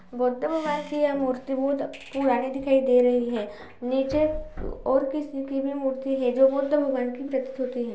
गौतम भगवान की यह मूर्ति बहोत पुरानी दिखाई दे रही है। नीचे और किसी की भी मूर्ति है जो बुद्ध भगवान की प्रतीत होती है।